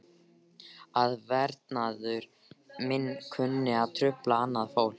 Að verknaður minn kunni að trufla annað fólk.